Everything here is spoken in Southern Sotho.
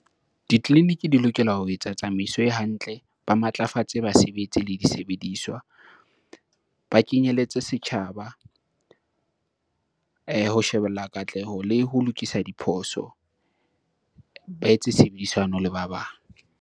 Ditleliniki di lokela ho etsa tsamaiso e hantle, ba matlafatse basebetsi le disebediswa. Ba kenyelletse setjhaba ho shebella katleho le ho lokisa diphoso. Ba etse tshebedisano le ba bang.